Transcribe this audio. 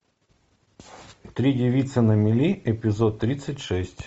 три девицы на мели эпизод тридцать шесть